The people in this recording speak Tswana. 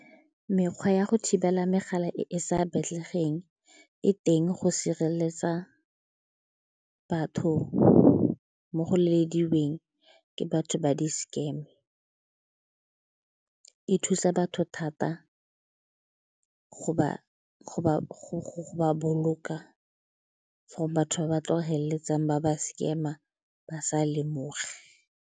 Mekgwa ya go thibela megala e e sa batlegeng e teng go sireletsa batho mo go lelediweng ke batho ba di-scam. E thusa batho thata go ba boloka for batho ba ba tlo feleletsang ba ba scam-a ba sa lemoge.